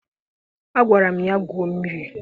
Agwara m ya gwuo mmiri!